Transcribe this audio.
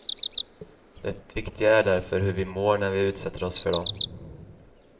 Det viktiga är därför hur vi mår när vi utsätter oss för dem.